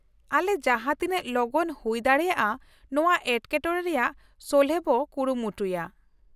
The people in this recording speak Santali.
ᱟᱞᱮ ᱡᱟᱦᱟᱸ ᱛᱤᱱᱟᱹᱜ ᱞᱚᱜᱚᱱ ᱦᱩᱭ ᱫᱟᱲᱮᱭᱟᱜᱼᱟ ᱱᱚᱶᱟ ᱮᱴᱠᱮᱴᱚᱬᱮ ᱨᱮᱭᱟᱜ ᱥᱚᱞᱦᱮ ᱵᱚ ᱠᱩᱨᱩᱢᱩᱴᱩᱭᱟ ᱾